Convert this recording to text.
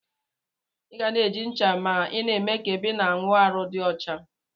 Iga na eji ncha ma ina eme ka ebe ina awụ arụ di ọcha.